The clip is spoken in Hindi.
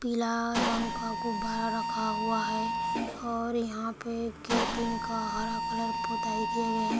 पीला रंग का गुब्बारा रखा हुआ है और यहाँ पे गेट इन का हरा कलर पोताई किया गया है।